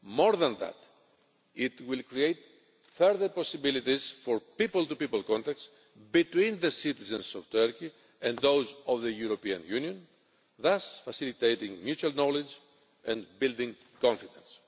more than that it will create further possibilities for people to people contacts between the citizens of Turkey and those of the European Union, thus facilitating mutual knowledge and building confidence.